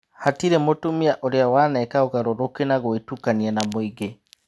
Hatirĩ mutumia ũrĩa waneka ũgarũrũku na gũĩtukania na mũingĩ.